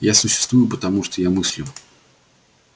я существую потому что я мыслю